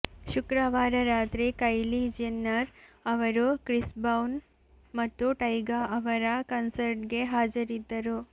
ಶುಕ್ರವಾರ ರಾತ್ರಿ Kylie Jenner ಅವರು ಕ್ರಿಸ್ ಬ್ರೌನ್ ಮತ್ತು ಟೈಗಾ ಅವರ ಕನ್ಸರ್ಟ್ಗೆ ಹಾಜರಿದ್ದರು